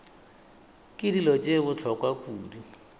ke dilo tše bohlokwa kudu